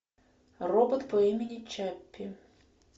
робот по имени чаппи